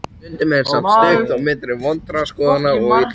Stundum er samt stutt milli vondra skoðana og illra verka.